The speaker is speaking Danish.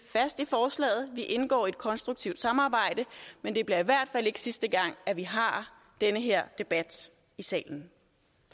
fast i forslaget vi indgår i et konstruktivt samarbejde men det bliver i hvert fald ikke sidste gang at vi har den her debat i salen